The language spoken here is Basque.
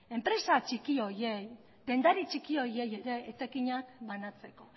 enpresa txiki horiei dendari txiki horiei ere etekinak banatzeko